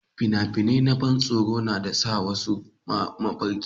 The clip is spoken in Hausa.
fina-finai na ban tsoro na sa wasu mafarki